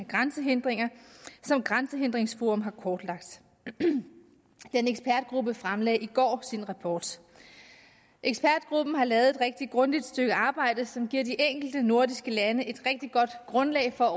grænsehindringer som grænsehindringsforum har kortlagt og denne ekspertgruppe fremlagde i går sin rapport ekspertgruppen har lavet et rigtig grundigt stykke arbejde som giver de enkelte nordiske lande et rigtig godt grundlag for at